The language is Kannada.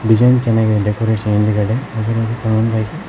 ಡಿಸೈನ್ ಚೆನ್ನಾಗಿದೆ ಡೆಕೋರೇಷನ್ ಹಿಂದಗಡೆ ಅದರಲ್ಲಿ--